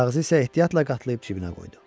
Kağızı isə ehtiyatla qatlayıb cibinə qoydu.